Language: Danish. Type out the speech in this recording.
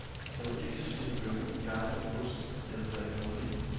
Jeg må ikke spise bønner, gamle oste eller drikke rødvin.